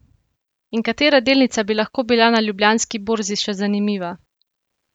In katera delnica bi lahko bila na Ljubljanski borzi še zanimiva?